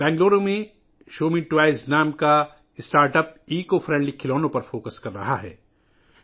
بنگلور میں شمّی ٹوئیز نام کا ایک سٹارٹ اپ ماحول دوست کھلونوں پر توجہ مرکوز کر رہا ہے